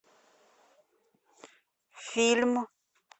фильм